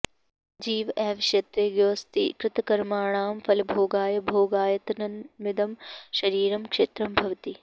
जीव एव क्षेत्रज्ञोऽस्ति कृतकर्मणां फलभोगाय भोगायतनमिदं शरीरं क्षेत्रं भवति